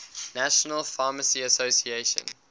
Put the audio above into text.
national pharmacy association